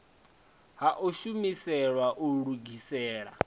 ha u shumiselwa u lugisela